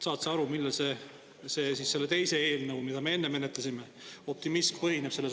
Saad sa aru, millel põhineb see optimism selle teise eelnõu puhul, mida me enne menetlesime?